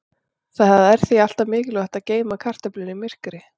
Það er því alltaf mikilvægt að geyma kartöflur í myrkri.